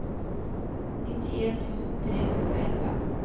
nittien tusen tre hundre og elleve